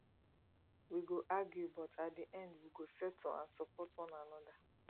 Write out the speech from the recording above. we go argue but at di end we go settle and support one another